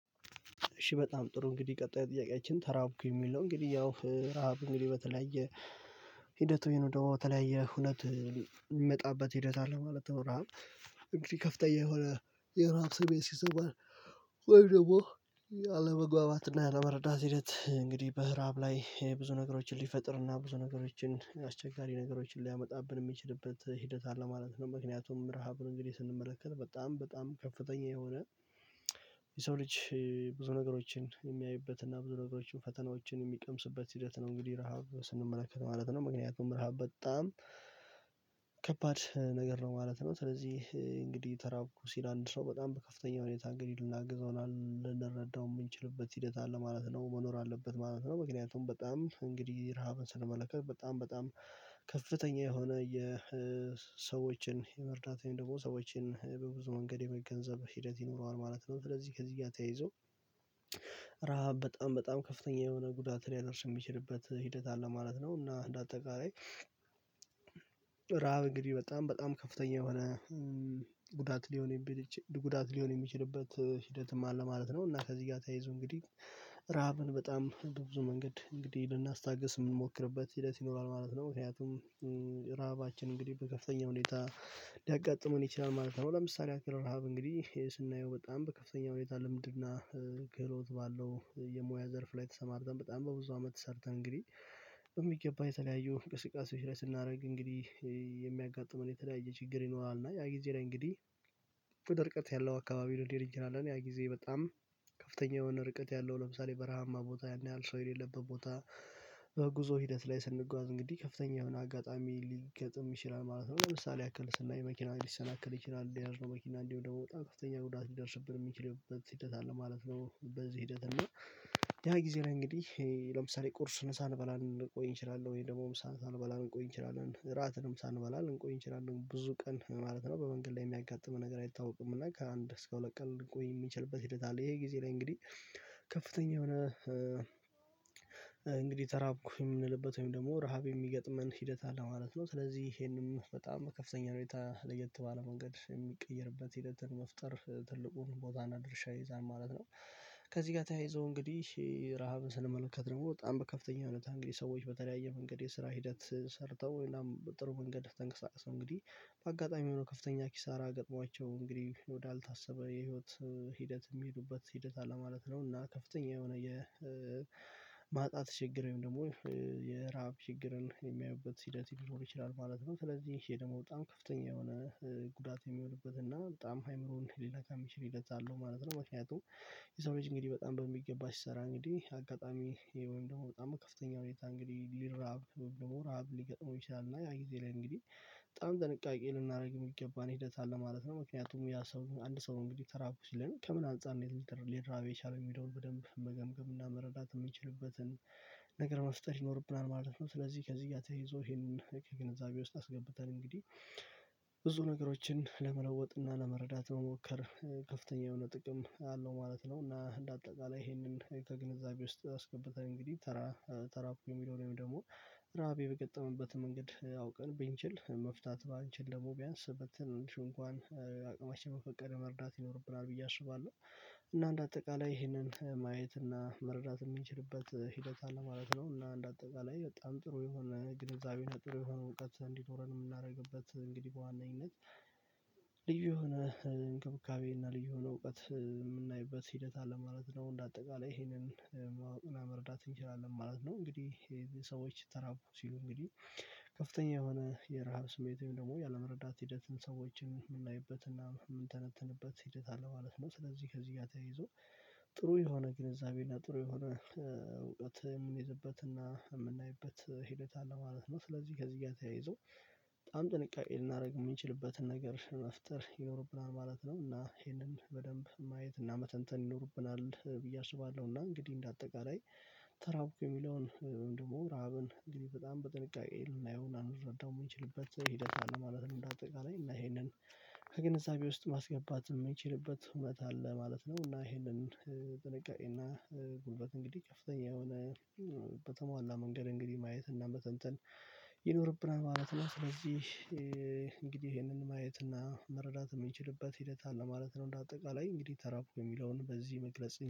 እሺ በጣም ጥሩ እንግዲህ ቀጣይ ጥያቄያችን ተራብኩ የሚል ነው እንግዲህ ያው ረሃብ እንግዲህ በተለያየ ሂደቱ ይሄን ደግሞ በተለያየ ሁኔታ የሚመጣበት ሂደት አለ ማለት ነው። ረሃብ እንግዲህ ከፍተኛ የሆነ የረሃብ ሰሜት ሲሰማ ወይ ደግሞ አለመግባባትና እና አለመረዳት ሂደት እንግዲህ በረሃብ ላይ ብዙ ነገሮችን ሊፈጥርና ብዙ ነገሮችን አስቸጋሪ ነገሮችን ሊያመጣብን የሚችልበት ሂደት አለ ማለት ነው። ምክንያቱም ረሃብን እንግዲህ ስንመለከት በጣም በጣም ከፍተኛ የሆነ የሰው ልጅ ብዙ ነገሮችን የሚያዩበትና ብዙ ነገሮችን ፈተናዎችን የሚቀምስበት ሂደት ነው። እንግዲህ ረሃብ ስንመለከት ማለት ነው ምክንያቱም ረሃብ በጣም ከባድ ነገር ነው ማለት ነው። ስለዚህ እንግዲህ ተራብኩ ሲል አንድ ሰው በጣም በከፍተኛ ሁኔታ እንግዲህ ልናግዘው ልንረዳው የምንችልበት ሂደት አለ ማለት ነው መኖር አለበት ማለት ነው። ምክንያቱም በጣም እንግዲህ ረሃብን ስለመለከት በጣም በጣም ከፍተኛ የሆነ የሰዎችን የመርዳት ወይም ደግሞ ሰዎችን በብዙ መንገድ የመገንዘብ ሂደት ይኖረዋል ማለት ነው። ስለዚህ ከዚህ እያተያይዞ ረሃብ በጣም በጣም ከፍተኛ የሆነ ጉዳት ሊያደርስ የሚችልበት ሂደት አለ ማለት ነው። እና እንደ አጠቃላይ ራብ እንግዲህ በጣም በጣም ከፍተኛ የሆነ ጉዳት ሊሆን የሚችልበት ሂደትም አለ ማለት ነው። እና ከዚህ ጋር ተያይዞ እንግዲህ ረሃብን በጣም በብዙ መንገድ እንግዲህ ልናስታግስ የምንሞክርበት ሂደት ይኖራል ማለት ነው። ምክንያቱም ራሃባችን እንግዲህ በከፍተኛ ሁኔታ ሊያጋጥመን ይችላል ማለት ነው። ለምሳሌ ከረሃብ እንግዲህ ስናየው በጣም በከፍተኛ ሁኔታ ልምድና ክህሎት ባለው የሙያ ዘርፍ ላይ ተሰማርተን በጣም በብዙ አመት ሰርተን እንግዲህ የሚገባ የተለያየው እንቅስቃሰ ስናደርግ እንግዲህ የሚያጋጥመን የተለያየ ችግር ይኖራል። እና ያጊዜ እንግዲህ ሙቄት ያለው አካባቢ ልንሄድ እንችላለን ያ ጊዜ በጣም ከፍተኛ የሆነ ርቀት ያለው ለምሳሌ በረሃማ ቦታ ያን ያህል ሰው የሌለበት ቦታ በጉዞ ሂደት ላይ ስንጓዝ እንግዲህ ከፍተኛ የሆነ አጋጣሚ ሊገጥም ይችላል ማለት ነው። ለምሳሌ ያክል ስናይ መኪና ሊሰናከል ይችላል የሄድነው መኪና እንዲሁ ደግሞ በጣም ከፍተኛ ጉዳት ልደርስብን የሚችልበት ሂደት አለ ማለት ነው። በዚህ ሂደት እና ያ ጊዜ ነው እንግዲህ ለምሳሌ ቁርሱ ሳንበላ ልንቆይ እንችላለን ወይ ደግሞ ምሳ ሳንበላ ልንቆይ እንችላለን እራትንም ሳንበላ ልንቆይ እንችላለን ብዙ ቀን ማለት ነው። በመንገድ ላይ የሚያጋጥመን ነገር አይታወቅም እና ከአንድ እስከ ሁለት ቀን ልንቆይ የሚችልበት ሂደት አለ። ይሄ ጊዜ ላይ እንግዲህ ከፍተኛ የሆነ እንግዲህ ተራብኩኝ የምንልበት ወይም ደግሞ ረሃብ የሚገጥመን ሂደት አለ ማለት ነው። ስለዚህ ይሄንም በጣም ከፍተኛ ሁኔታ ለየት ባለ መንገድ የሚቀይርበት ሂደትን መፍጠር ትልቁን ቦታ እና ድርሻ ይዛል ማለት ነው። ከዚህ ጋር ተያይዞ እንግዲህ ረሃብን ስንመለከት ነው በጣም በከፍተኛ ሁኔታ እንግዲህ ሰዎች በተለያየ መንገድ የስራ ሂደት ሰርተው ጥሩ መንገድ ተንቀሳቀሰው እንግዲህ በአጋጣሚ የሆነው ከፍተኛ ኪሳራ ገጥሟቸው እንግዲህ ወዳልታሰበ የህይወት ሂደት የሚሄዱበት ሂደት አለ ማለት ነው። እና ከፍተኛ የሆነ የማጣት ችግር ወይም ደግሞ የራብ ችግርን የሚያዩበት ሂደት ሊኖር ይችላል ማለት ነው። ስለዚህ ይሄ ደግሞ በጣም ከፍተኛ የሆነ ጉዳት የሚሆንበት እና በጣም አእምሮን ሊለካ የሚችል ህዴት አለው ማለት ነው። ምክንያቱም የሰው ልጅ እንግዲህ በጣም በሚገባ ሲሰራ እንግዲህ አጋጣሚ ወይን ደግሞ በጣም ከፍተኛ ሁኔታ እንግዲህ ሊረሃብ ወይም ደግሞ ረሃብ ሊገጥመው ይችላል እና ያ ጊዜ ላይ እንግዲህ በጣም ጥንቃቄ ልናደርግ የምትገባን ሂደት አለ ማለት ነው። ምክንያቱም ያ ሰው አንድ ሰው እንግዲህ ተራብኩ ሲለን ከምን አንፃር ሊራብ የቻለውን የሚለውን በደንብ መገምገም እና መረዳት የምንችልበትን ነገር መፍጠር ይኖርብናል ማለት ነው። ስለዚህ ከዚህ ጋር ተያይዞ ይሄንን ከግንዛቤ ውስጥ አስገብተን እንግዲህ ብዙ ነገሮችን ለመለወጥና ለመረዳት መሞከር ከፍተኛ የሆነ ጥቅም አለው ማለት ነው። እና እንደ አጠቃላይ ይሄንን ከግንዛቤ ውስጥ አስገብተን እንግዲህ ተራ ተራብኩ የሚለው ወይም ደግሞ ረሃቤ በገጠመበት መንገድ አውቀን ቢንችል መፍታት ባንችል ደግሞ ቢያንስ ብትንሹ እንኳን አቅማችን በፈቀደ መርዳት ይኖርብናል ብዬ አስባለሁ። እና እንደ አጠቃላይ ይሄንን ማየት እና መረዳት የምንችልበት ሂደት አለ ማለት ነው። እና እንደ አጠቃላይ በጣም ጥሩ የሆነ ግንዛቤው ጥሩ የሆነ እውቀት እንዲኖረን የምናደርግበት እንግዲህ በዋነኝነት ልዩ የሆነ እንክብካቤ እና ልዩ የሆነ እውቀት የምናይበት ሂደት አለ ማለት ነው። እንደ አጠቃላይ ይሄንን ማወቅ እና መረዳት እንችላለን ማለት ነው። እንግዲህ ሰዎች ተራቡ ሲሉ እንግዲህ ከፍተኛ የሆነ የረሃብ ስሜት ወይም ደግሞ ያለመረዳት ሂደትን ሰዎችን የምናይበትና የምንተነትንበት ሂደት አለ ማለት ነው። ስለዚህ ከዚህ ጋር ተይዞ ጥሩ የሆነ ግንዛቤና ጥሩ የሆነ እውቀት የምንይዝበትና የምናይበት ሂደት አለ ማለት ነው። ስለዚህ ከዚህ ጋር ተያይዞ በጣም ጥንቃቄ ልናደርግ የምንችልበትን ነገር መፍጠር ይኖርብናል ማለት ነው። እና ይሄንን በደንብ ማየት እና መተንተን ይኖርብናል ብዬ አስባለሁ። እና እንግዲህ እንደ አጠቃላይ ተራብኩ የሚለውን ደግሞ ረሃብን እንግዲህ በጣም በጥንቃቄ ልናየው እና ልንረዳው የምንችልበት ሂደት አለ ማለትም እንደ አጠቃላይ እና ይሄንን ከግንዛቤ ውስጥ ማስገባት የምንችልበት ሁኔታ አለ ማለት ነው። እና ይሄንን ጥንቃቄ እና ጉልበት እንግዲህ ከፍተኛ የሆነ በተሟላ መንገድ እንግዲህ ማየት እና መተንተን ይኖርብናል ማለት ነው። ስለዚህ እንግዲህ ይሄንን ማየት እና መረዳት የምንችልበት ሂደት አለ ማለት ነው። እንደ አጠቃላይ እንግዲህ ተራብኩ የሚለውን በዚህ መግለጽ